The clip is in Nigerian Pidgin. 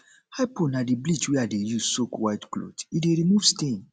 hypo na di bleach wey i dey use soak white cloth e dey remove stain